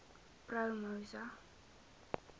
promosa